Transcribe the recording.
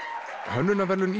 hönnunarverðlaun